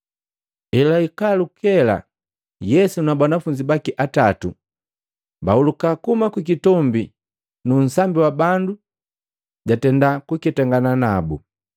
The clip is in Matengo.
Elwahika lukela Yesu na banafunzi baki atatu bahuluka kuhuma kukitombi, nu nsambi wa bandu jatenda kuketangana nabu.